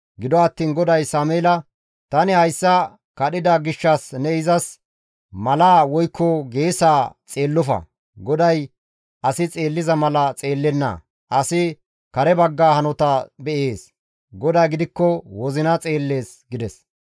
Gido attiin GODAY Sameela, «Tani hayssa kadhida gishshas ne izas malaa woykko geesaa xeellofa; GODAY asi xeelliza mala xeellenna; asi kare bagga hanota be7ees; GODAY gidikko wozina xeellees» gides.